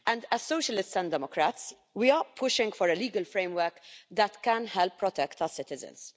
As socialists and democrats, we are pushing for a legal framework that can help protect our citizens.